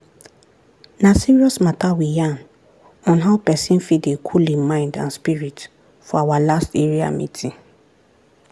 na serious matta we yarn on how pesin fit dey cool hin mind and spirit for our last area meeting.